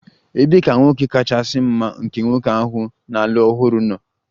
Ebee ka nwoke kachasị mma nke nwoke ahụ na-alụ ọhụrụ nọ?